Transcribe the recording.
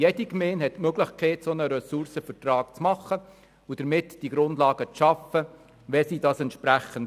Jede Gemeinde hat die Möglichkeit, einen solchen Ressourcenvertrag abzuschliessen und damit die Grundlagen zu schaffen, wenn sie das wollen.